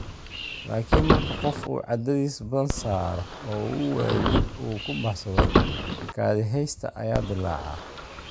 Laakin marka qof uu cadaadis badan saaro oo uu waayo jid uu ku baxsado, kaadiheysta ayaa dilaaca.